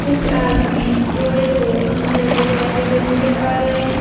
कुछ आदमी बोरे को अंदर ले जाते हुए नजर आ रहे हैं।